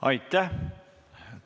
Aitäh!